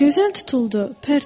Gözəl tutuldu, pərt oldu.